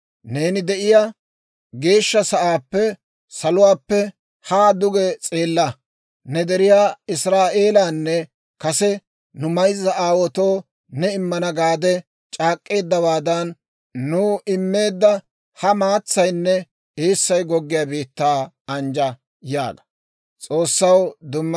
Neeni de'iyaa geeshsha sa'aappe, saluwaappe haa duge s'eella; ne deriyaa Israa'eelanne kase nu mayzza aawaatoo ne immana gaade c'aak'k'eeddawaadan nuw immeedda ha maatsaynne eessay goggiyaa biittaa anjja› yaaga.